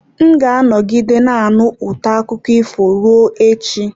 M ga-anọgide na-anụ ụtọ akụkọ ifo ruo echi.